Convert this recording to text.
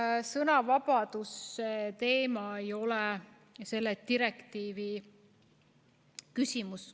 Sõnavabaduse teema ei ole selle direktiivi küsimus.